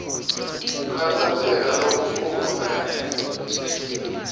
kukhatsateka lokukhulu kanye